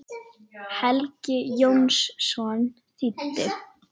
Helgi Jónsson þýddi.